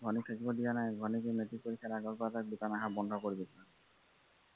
ভনীক থাাকিব দিয়া নাই আৰু ভনীৰ মেট্ৰিক পৰীক্ষা আগৰ পৰা তাক দোকান অহা বন্ধ কৰি দিছোঁ।